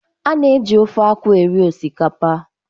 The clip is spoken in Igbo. A na-eji ofe akwu eri osikapa